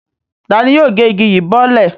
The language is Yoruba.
Ta ni yóò gé igi yìí bọ́lẹ̀?